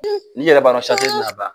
N'i yɛrɛ b'a dɔn ti n'a ban.